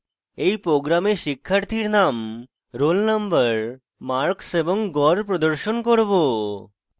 in program শিক্ষার্থীর name roll নম্বর marks এবং গড় প্রদর্শন করব